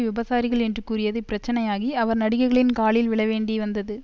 விபசாரிகள் என்று கூறியது பிரச்சனையாகி அவர் நடிகைகளின் காலில் விழ வேண்டி வந்தது